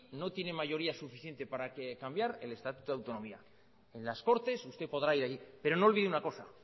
no tiene mayoría suficiente para cambiar el estatuto de autonomía en las cortes usted podrá ir ahí pero no olvide una cosa